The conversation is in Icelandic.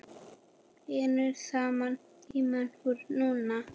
Vinnum saman Tíminn er núna.